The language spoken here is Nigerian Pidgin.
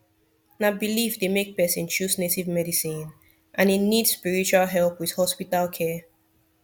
na belief dey make person choose native medicine and e need spiritual help with hospital care